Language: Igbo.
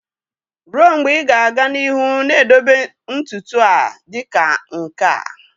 Ruo mgbe ị ga-aga n'ihu na-edobe ntutu a dị ka nke a?